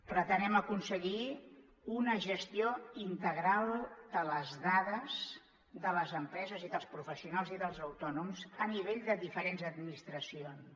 pretenem aconseguir una gestió integral de les dades de les empreses i dels professionals i dels autònoms a nivell de diferents administracions